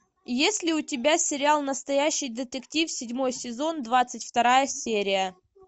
есть ли у тебя сериал настоящий детектив седьмой сезон двадцать вторая серия